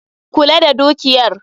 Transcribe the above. Kula da dukiyar